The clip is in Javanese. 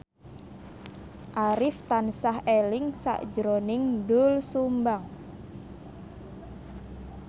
Arif tansah eling sakjroning Doel Sumbang